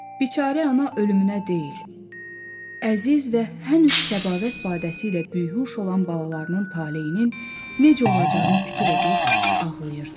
Biçarə ana ölümünə deyil, əziz və hənuz səbavət badəsi ilə bühş olan balalarının talehinin necə olacağını fikir edib ağlayırdı.